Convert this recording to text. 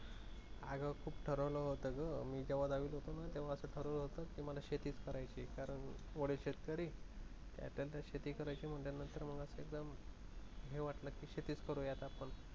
अग, खूप ठरवलं होतं ग मी जेव्हा दहावीत होतो ना तेव्हा असं ठरवलं होतं कि मला शेतिच करायची कारण वडील शेतकरी, त्यात अता शेती करायची म्हटल्यानंतर मग असं एकदम हे वाटलं कि शेतीच करुयात आपन